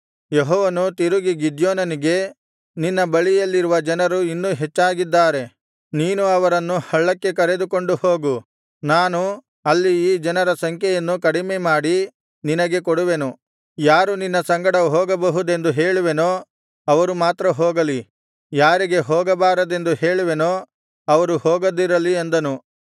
ಯೆಹೋವನು ತಿರುಗಿ ಗಿದ್ಯೋನನಿಗೆ ನಿನ್ನ ಬಳಿಯಲ್ಲಿರುವ ಜನರು ಇನ್ನೂ ಹೆಚ್ಚಾಗಿದ್ದಾರೆ ನೀನು ಅವರನ್ನು ಹಳ್ಳಕ್ಕೆ ಕರೆದುಕೊಂಡು ಹೋಗು ನಾನು ಅಲ್ಲಿ ಈ ಜನರ ಸಂಖ್ಯೆಯನ್ನು ಕಡಿಮೆಮಾಡಿ ನಿನಗೆ ಕೊಡುವೆನು ಯಾರು ನಿನ್ನ ಸಂಗಡ ಹೋಗಬಹುದೆಂದು ಹೇಳುವೆನೋ ಅವರು ಮಾತ್ರ ಹೋಗಲಿ ಯಾರಿಗೆ ಹೋಗಬಾರದೆಂದು ಹೇಳುವೆನೋ ಅವರು ಹೋಗದಿರಲಿ ಅಂದನು